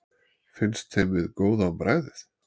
finnst þeim við góð á bragðið